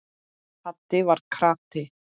Haddi var krati.